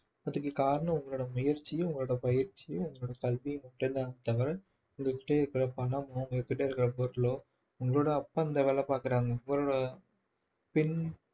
அதுக்கு காரணம் உங்களோட முயற்சியும் உங்களோட பயிற்சியும் உங்களோட கல்வியும் மட்டும் தான் தவிர உங்ககிட்ட இருக்கிற பணமோ உங்ககிட்ட இருக்கிற பொருளோ உங்களோட அப்பா இந்த வேலை பார்க்கிறாங்க உங்களோட